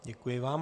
Děkuji vám.